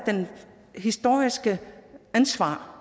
det historiske ansvar